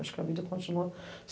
Acho que a vida continua.